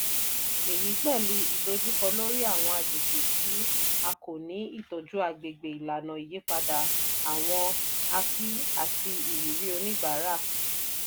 èyí pẹ̀lú ìdojúkọ lórí àwọn agbègbè tí a kò ni ìtọ́jú agbègbè ìlànà ìyípadà àwọn api àti ìrírí oníbàárà.